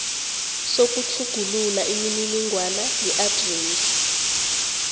sokutjhugulula imininingwana yeadresi